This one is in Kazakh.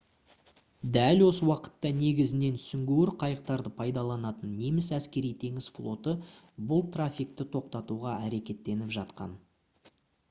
дәл осы уақытта негізінен сүңгуір қайықтарды пайдаланатын неміс әскери-теңіз флоты бұл трафикті тоқтатуға әрекеттеніп жатқан